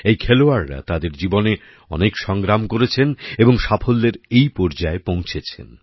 এই খেলোয়াড়রা তাদের জীবনে অনেক সংগ্রাম করেছেন এবং সাফল্যের এই পর্যায়ে পৌঁছেছেন